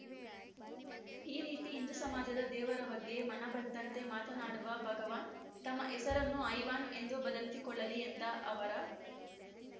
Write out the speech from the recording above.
ಈ ರೀತಿ ಹಿಂದೂ ಸಮಾಜದ ದೇವರ ಬಗ್ಗೆ ಮನಬಂದಂತೆ ಮಾತನಾಡುವ ಭಗವಾನ್‌ ತಮ್ಮ ಹೆಸರನ್ನು ಹೈವಾನ್‌ ಎಂದು ಬದಲಿಸಿಕೊಳ್ಳಲಿ ಎಂದ ಅವರ